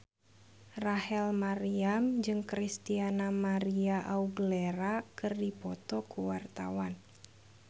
Rachel Maryam jeung Christina María Aguilera keur dipoto ku wartawan